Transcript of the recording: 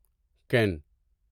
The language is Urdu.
کین